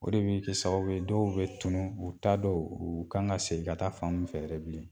O de bi kɛ sababu ye dɔw bɛ tunun, u t'a dɔn uu kan ŋa segin ka taa fan mun fɛ yɛrɛ bilen.